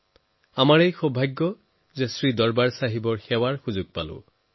এয়া আমাৰ সকলোৰে সৌভাগ্য যে আমাৰ শ্ৰী দৰবাৰ চাহেবৰ সেৱা কৰাৰ আন এটি সুযোগ হৈছে